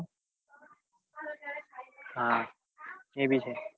હા એ ભી છે